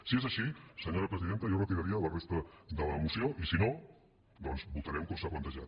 si és així senyora presidenta jo retiraria la resta de la moció i si no doncs votarem com s’ha plantejat